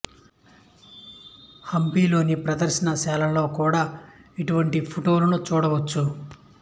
హంపి లోని ప్రదర్శన శాలలో కూడ ఇటువంటి ఫొటోలను చూడవచ్చు